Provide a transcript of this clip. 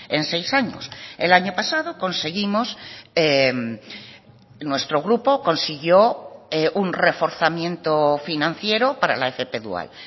en seis años el año pasado conseguimos nuestro grupo consiguió un reforzamiento financiero para la fp dual